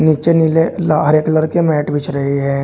नीचे नीले ला हरे कलर के मैट बिछ रहे हैं।